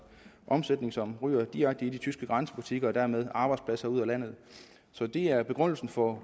omsætning som ryger direkte i de tyske grænsebutikker og dermed ryger arbejdspladser ud af landet så det er begrundelsen for